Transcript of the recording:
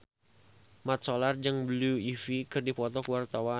Mat Solar jeung Blue Ivy keur dipoto ku wartawan